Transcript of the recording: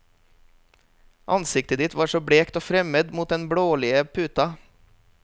Ansiktet ditt var så blekt og fremmed mot den blålige puta.